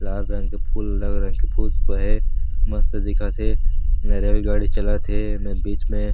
लाल रंग के फूल रंग-रंग के फूल बने हे मस्त दिखत हे एमे रेलगाड़ी चालत हे एमे बीच मे--